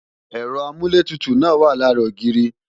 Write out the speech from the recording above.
Ẹ̀rọ amúlétutù náà wa lára ogiiri